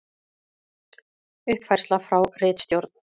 Uppfærsla frá ritstjórn: